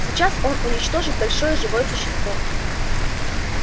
сейчас он уничтожит большое живое существо